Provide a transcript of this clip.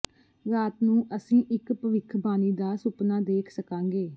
ਰਾਤ ਨੂੰ ਅਸੀਂ ਇਕ ਭਵਿੱਖਬਾਣੀ ਦਾ ਸੁਪਨਾ ਦੇਖ ਸਕਾਂਗੇ